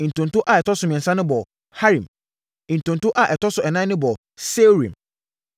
Ntonto a ɛtɔ so mmiɛnsa no bɔɔ Harim. Ntonto a ɛtɔ so ɛnan no bɔɔ Seorim.